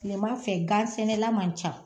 Kilema fɛ gan sɛnɛla man ca